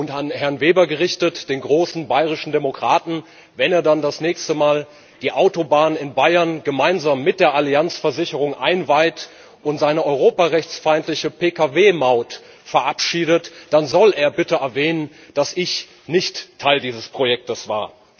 An Herrn Weber gerichtet, den großen bayerischen Demokraten Wenn er dann das nächste Mal die Autobahn in Bayern gemeinsam mit der Allianz Versicherung einweiht und seine europarechtsfeindliche PKW Maut verabschiedet, dann soll er bitte erwähnen, dass ich nicht Teil dieses Projekts war.